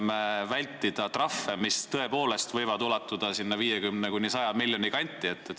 Need trahvid võivad tõepoolest ulatuda 50 kuni 100 miljoni kanti.